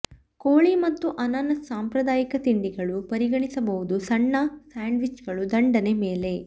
ಕೋಳಿ ಮತ್ತು ಅನಾನಸ್ ಸಾಂಪ್ರದಾಯಿಕ ತಿಂಡಿಗಳು ಪರಿಗಣಿಸಬಹುದು ಸಣ್ಣ ಸ್ಯಾಂಡ್ವಿಚ್ಗಳು ದಂಡನೆ ಮೇಲೆ